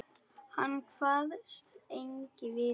Hann kvaðst eigi vita.